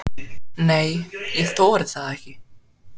Nei, ég þori það ekki.